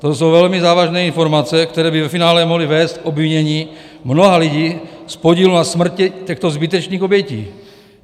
To jsou velmi závažné informace, které by ve finále mohly vést k obvinění mnoha lidí z podílu na smrti těchto zbytečných obětí.